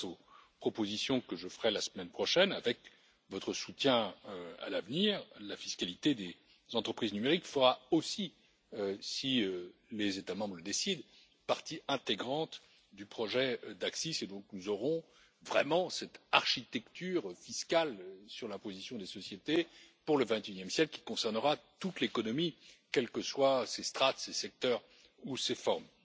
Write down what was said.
Grâce aux propositions que je ferai la semaine prochaine avec votre soutien à l'avenir, la fiscalité des entreprises numériques fera aussi si les États membres le décident partie intégrante du projet d'ACCIS et donc nous aurons vraiment cette architecture fiscale sur l'imposition des sociétés pour le XXIe siècle qui concernera toute l'économie, quelles que soient ses strates, ses secteurs ou ses formes.